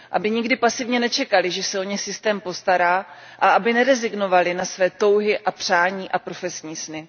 Aby nikdy pasivně nečekaly, že se o ně systém postará a aby nerezignovaly na své touhy a přání a profesní sny.